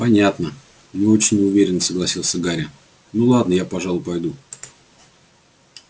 понятно не очень уверенно согласился гарри ну ладно я пожалуй пойду